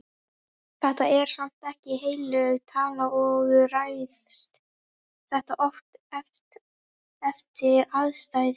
Þetta er samt ekki heilög tala og ræðst þetta oft eftir aðstæðum.